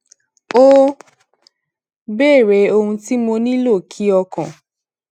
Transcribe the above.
ó béèrè ohun tí mo nílò kí ọkàn